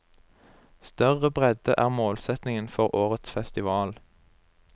Større bredde er målsetningen for årets festival.